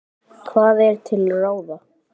Hvað er til ráða